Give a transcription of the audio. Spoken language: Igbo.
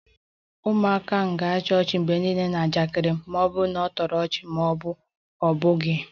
Ụmụaka ahụ ga-achị ọchị mgbe niile na njakịrị m ma ọ bụ na ọ na-atọ ọchị ma ọ bụ na ọ bụghị